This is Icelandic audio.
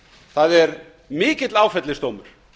það er mikill áfellisdómur